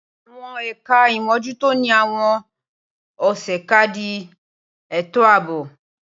Awon ẹkà imójùtó ni àwón òsé kàdí ẹtóàbó